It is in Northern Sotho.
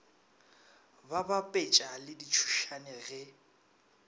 ba bapetša le ditšhošane ge